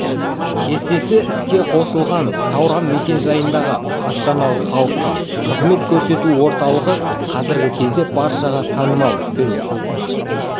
кестесі іске қосылған сауран мекен-жайындағы астаналық халыққа қызмет көрсету орталығы қазіргі кезде баршаға танымал біз